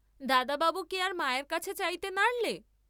দাদা বাবু কি আর মায়ের কাছে চাইতে নারলে!